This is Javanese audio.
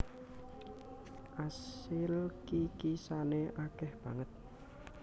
Asil kikisane akeh banget